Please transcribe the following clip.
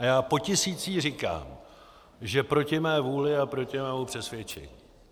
A já potisící říkám, že proti mé vůli a proti mému přesvědčení.